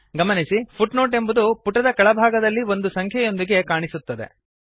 ಗಮನಿಸಿ ಫುಟ್ನೋಟ್ ಎಂಬುದು ಪುಟದ ಕೆಳಭಾಗದಲ್ಲಿ ಒಂದು ಸಂಖ್ಯೆಯೊಂದಿಗೆ ಕಾಣಿಸುತ್ತದೆ